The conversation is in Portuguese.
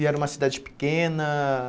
E era uma cidade pequena?